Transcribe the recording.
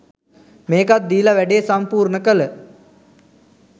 මේකත් දීලා වැඩේ සම්පූර්ණ කළ